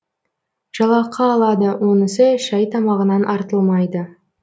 жалақы алады онысы шай тамағынан артылмайды